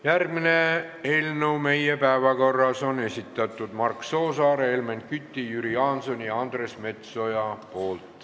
Järgmise eelnõu meie päevakorras on esitanud Mark Soosaar, Helmen Kütt, Jüri Jaanson ja Andres Metsoja.